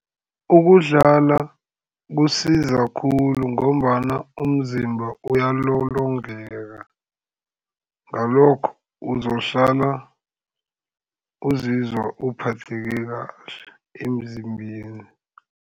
Ukudlala kusiza khulu ngombana umzimba uyalolongeka, ngalokho uzohlala uzizwa uphatheke kahle emzimbeni.